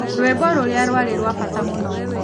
Rwĩmbo rũrĩa rwarĩ rwa bata mũno.